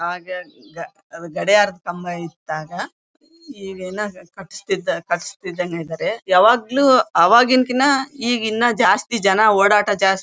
ಗಡಿಯಾರದ ಕಂಬ ಇತ್ತ ಆಗ್ ಈಗೇನೋ ಇದರೆ ಯಾವಗ್ಲೂ ಆವಾಗೀನ್ ಕಿನ ಈಗಿನ್ನು ಜಾಸ್ತಿ ಜನ ಓಡಾಟ ಜಾಸ್ತಿ.